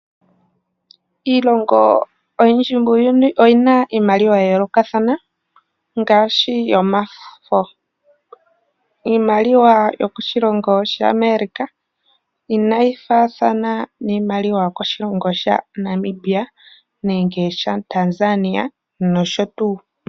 Iilongo oyindji muuyuni oyi na iimaliwa ya yoolokathana ngaashi yomafo. Iimaliwa yokoshilongo sha America, inayi fa iimaliwa yomoshilongo shaNamibia nenge shaTanzania nosho tuu.